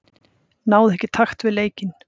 Náði ekki takt við leikinn.